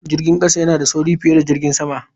Jirgin kasa yana da sauri fiye da jirgin sama.